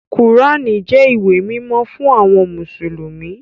Kùránì jẹ́ ìwé mímọ́ fún àwọn mùsùlùmí